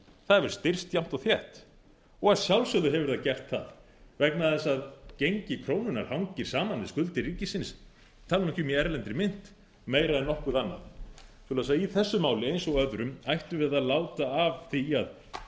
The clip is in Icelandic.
það hefur styrkst jafnt og þétt og að sjálfsögðu hefur það gert það vegna þess að gengi krónunnar hangir saman við skuldir ríkisins ég tala nú ekki um í erlendri mynt meira en nokkuð annað í þessu máli eins og öðrum ættum við því að láta af því að